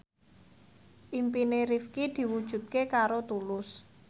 impine Rifqi diwujudke karo Tulus